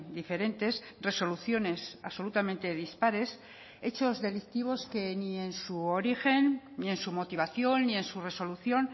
diferentes resoluciones absolutamente dispares hechos delictivos que ni en su origen ni en su motivación ni en su resolución